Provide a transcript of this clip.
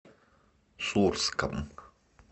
сурском